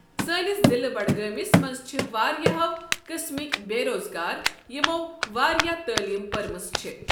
سٲنِس ضلع بڈگٲمِس منٛز چھِ واریاہو قٕسمٕکۍ بےٚ روزگار یِمو واریاہ تعلیٖم پٔرمٕژ چھےٚ۔